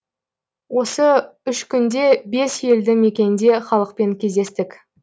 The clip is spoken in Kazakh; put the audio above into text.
осы үш күнде бес елді мекенде халықпен кездестік